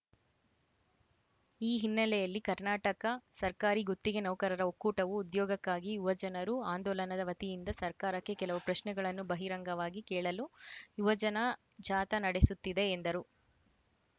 ಈ ಹಿನ್ನೆಲೆಯಲ್ಲಿ ಕರ್ನಾಟಕ ಸರ್ಕಾರಿ ಗುತ್ತಿಗೆ ನೌಕರರ ಒಕ್ಕೂಟವು ಉದ್ಯೋಗಕ್ಕಾಗಿ ಯುವಜನರು ಆಂದೋಲನದ ವತಿಯಿಂದ ಸರ್ಕಾರಕ್ಕೆ ಕೆಲವು ಪ್ರಶ್ನೆಗಳನ್ನು ಬಹಿರಂಗವಾಗಿ ಕೇಳಲು ಯುವಜನ ಜಾಥಾ ನಡೆಸುತ್ತಿದೆ ಎಂದರು